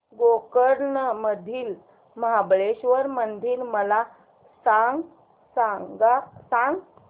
गोकर्ण मधील महाबलेश्वर मंदिर मला सांग